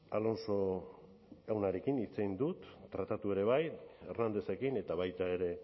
alonso jaunarekin hitz egin dut tratatu ere bai hernándezekin eta baita ere